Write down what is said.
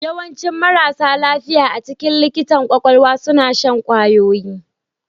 Yawancin marasa lafiya a cikin likitan kwakwalwa suna shan kwayoyi